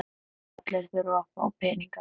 Allir þurfa að fá peninga.